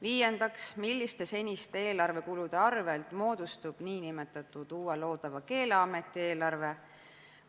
Viiendaks, milliste seniste eelarvekulude arvel moodustub uue loodava Keeleameti eelarve?